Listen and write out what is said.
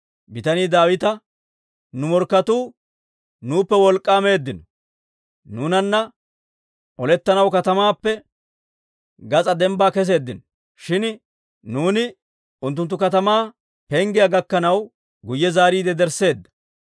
Bitanii Daawita, «Nu morkketuu nuuppe wolk'k'aa meeddino; nuunanna olettanaw katamaappe gas'aa dembbaa keseeddino; shin nuuni unttunttu katamaa penggiyaa gakkanaw, guyye zaariide yedersseeddo.